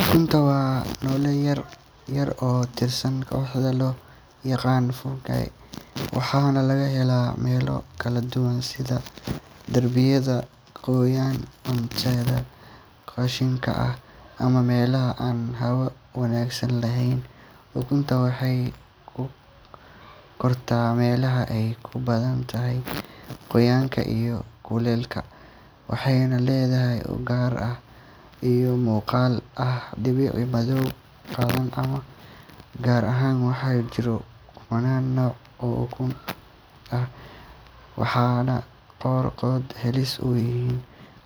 Ukuntu waa noole yaryar oo ka tirsan kooxda loo yaqaan fungi, waxaana laga helaa meelo kala duwan sida derbiyada qoyan, cuntada qashinka ah, ama meelaha aan hawo wanaagsan lahayn. Ukuntu waxay ku kortaa meelaha ay ku badan tahay qoyaanka iyo kuleylka, waxayna leedahay ur gaar ah iyo muuqaal ah dhibco madow, caddaan ama cagaar ah. Waxaa jira kumannaan nooc oo ukun ah, waxaana qaarkood halis u yihiin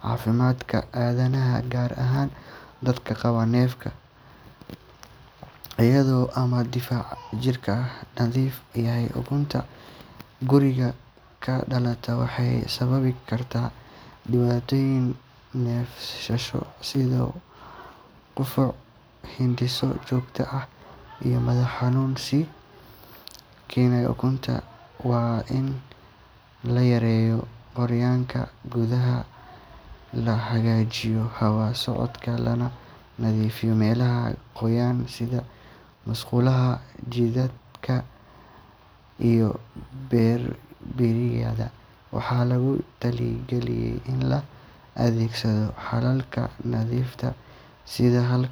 caafimaadka aadanaha, gaar ahaan dadka qaba neef, xasaasiyad ama difaac jidhkooda daciif yahay. Ukunta guriga ka dhalata waxay sababi kartaa dhibaatooyin neefsasho sida qufac, hindhiso joogto ah iyo madax xanuun. Si loo xakameeyo ukunta, waa in la yareeyo qoyaanka gudaha, la hagaajiyo hawo socodka, lana nadiifiyo meelaha qoyan sida musqulaha, jikada iyo derbiyada. Waxaa lagu taliyay in la adeegsado xalalka nadiifinta sida